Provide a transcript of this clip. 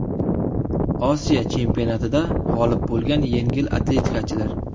Osiyo chempionatida g‘olib bo‘lgan yengil atletikachilar.